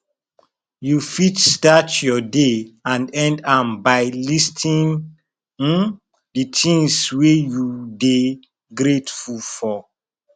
you fit start your day and end am by listing um di things wey you dey grateful for